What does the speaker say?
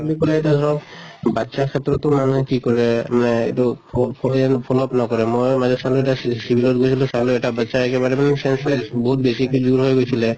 বুলি কʼলে এতিয়া ধৰক বাচ্ছা ক্ষেত্ৰত টো মানুহে কি কৰে মানে এইটো ফ phone ত নকৰে। ময়ে civil ত গৈছিলো চালো এটা বাচ্ছা একেবাৰে মানে sense less বহুত বেছিকে হৈ গৈছিলে